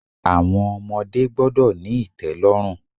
Àwọn ọmọdé gbọ́dọ̀ ní ìtẹ́lọ́rùn.